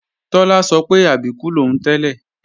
Tọ́lá sọ pé Àbíkú lòún tẹ́lẹ̀